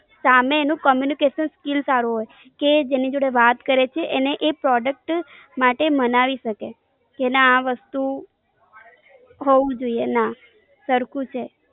આમેય તેનું communication skill સારું હોય કે જેની જોડે વાત કરે છે એને એ product માટે માનવી શકે. કે ના આ વસ્તુ હોવું જોઈએ. ના, સરખું છે.